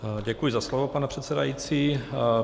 Děkuji za slovo, pane předsedající.